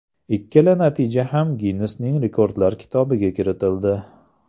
Ikkala natija ham Ginnesning rekordlar kitobiga kiritildi.